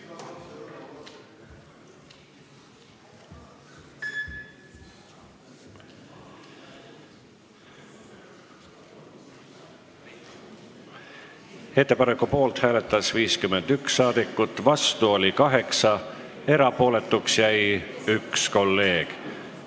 Hääletustulemused Ettepaneku poolt hääletas 51 saadikut ja vastu oli 8, erapooletuks jäi 1 kolleeg.